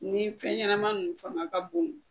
Ni fɛn ɲɛnama ninnu fanga ka bon